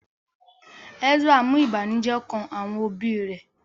Ezra mú ìbànújẹ́ kán àwọn òbí rẹ̀